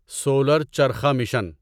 solar charkha mission